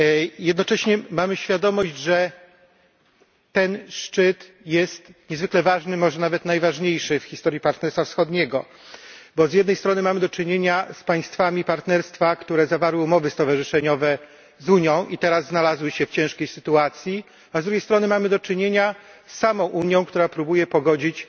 I jednocześnie mamy świadomość, że ten szczyt jest niezwykle ważny, może nawet najważniejszy w historii Partnerstwa Wschodniego, bo z jednej strony mamy do czynienia z państwami Partnerstwa, które zawarły umowy stowarzyszeniowe z Unią i teraz znalazły się w ciężkiej sytuacji, a z drugiej strony mamy do czynienia z samą Unią, która próbuje pogodzić